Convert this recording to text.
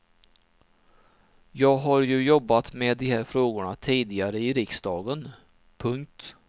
Jag har ju jobbat med de här frågorna tidigare i riksdagen. punkt